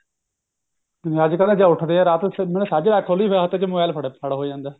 ਅੱਜਕਲ ਜੇ ਉੱਠਦੇ ਆ ਰਾਤ ਨੂੰ ਸਾਜਰੇ ਅੱਖ ਖੁੱਲੀ ਫੇਰ ਹੱਥ ਚ mobile ਫੜ ਫੜ ਹੋ ਜਾਂਦਾ ਹੈ